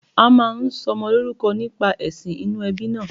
A máa ń sọmọ lórúkọ nípa èsìn inú ebí náà